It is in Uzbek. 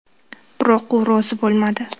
Biroq u rozi bo‘lmadi.